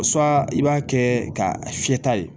i b'a kɛ ka fiyɛta ye